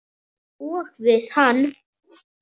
Og við hann.